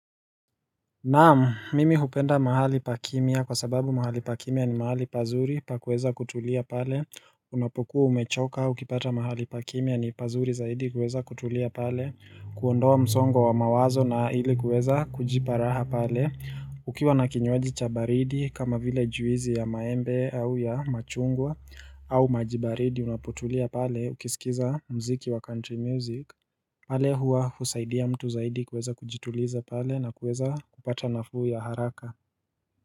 Naamu, mimi hupenda mahali pa kimya kwa sababu mahali pa kimia ni mahali pazuri pakueza kutulia pale Unapokuwa umechoka ukipata mahali pa kimya ni pazuri zaidi kueza kutulia pale kuondoa msongo wa mawazo na ili kueza kujiparaha pale Ukiwa na kinywaji cha baridi kama vile juizi ya maembe au ya machungwa au maji baridi unapotulia pale ukisikiza mziki wa country music pale huwa husaidia mtu zaidi kweza kujituliza pale na kweza kupata nafuu ya haraka.